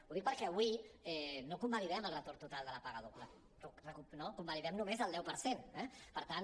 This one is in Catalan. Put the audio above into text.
ho dic perquè avui no convalidem el retorn total de la paga doble no convalidem només el deu per cent eh per tant